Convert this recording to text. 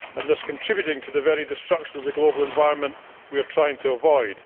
thus contributing to the very destruction of the global environment we are trying to avoid.